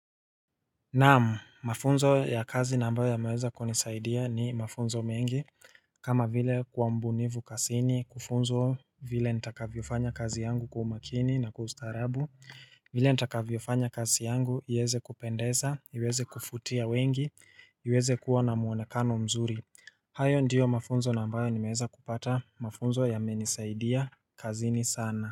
Naam, mafunzo ya kazi na ambayo yameweza kunisaidia ni mafunzo mengi kama vile kuwa mbunifu kasini, kufunzwa vile nitakavyofanya kazi yangu kwa umakini na kwa ustarabu vile nitakavyofanya kazi yangu, iweze kupendeza, iweze kufutia wengi, iweze kuwa na mwonekano mzuri hayo ndiyo mafunzo na ambayo nimeweza kupata mafunzo yamenisaidia kazi ni sana.